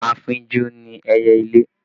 Afínjú ni ẹyẹlé